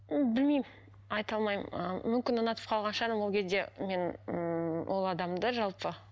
м білмеймін айта алмаймын ы мүмкін ұнатып қалған шығармын ол кезде мен ммм ол адамды жалпы